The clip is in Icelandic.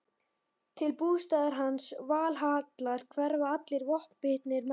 Til bústaðar hans, Valhallar, hverfa allir vopnbitnir menn.